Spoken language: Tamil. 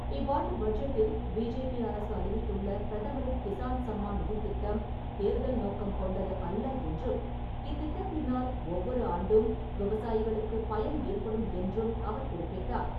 இவ்வாண்டு பட்ஜெட்டில் பிஜேபி அரசு அறிவித்துள்ள பிரதமரின் கிஸான் சம்மான் நிதித் திட்டம் தேர்தல் நோக்கம் கொண்டது அல்ல என்றும், இத்திட்டத்தினால் ஒவ்வொரு ஆண்டும் விவசாயிகளுக்கு பயன் ஏற்படும் என்றும் அவர் குறிப்பிட்டார்.